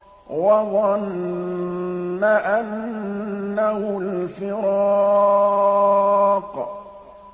وَظَنَّ أَنَّهُ الْفِرَاقُ